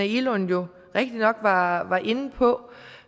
egelund jo rigtigt nok var var inde på